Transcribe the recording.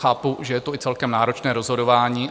Chápu, že je to i celkem náročné rozhodování.